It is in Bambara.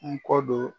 N kɔ don